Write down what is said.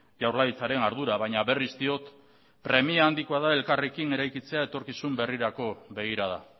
jaurlaritzaren ardura baina berriz diot premia handikoa da elkarrekin eraikitzea etorkizun berrirako begirada